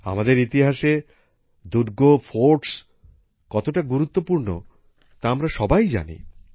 আমাদের ইতিহাসে দুর্গ ফোর্ট কতটা গুরুত্বপূর্ণ তা আমরা সবাই জানি